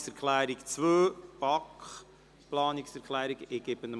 Wir fahren weiter mit der Planungserklärung 2